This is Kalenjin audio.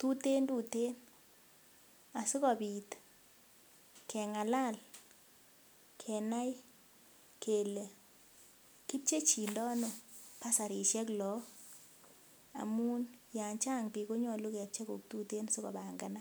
tuteen tuteen asikobit keng'alal kenai kele kipchechindoono basarisiek laak amun yan chang biik konyolu kepchei koik tuten sikopanganak.